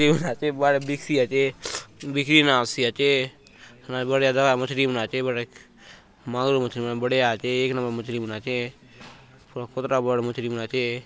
आचे मस्त बिकसी आचे बिक्री ना होयसी आचे बढ़िया बड़ा मछरी मन आचे बढ़िया मांगुर मछली मन बढ़िया आचे एक नंबर मछली मन आचे बढ़िया खोदरा भर मछली मन आचे।